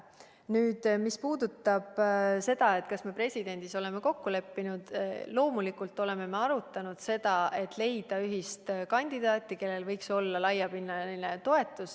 Nüüd, mis puudutab seda, kas me presidendis oleme kokku leppinud, siis loomulikult me oleme arutanud, et võiks leida ühise kandidaadi, kellel võiks olla laiapinnaline toetus.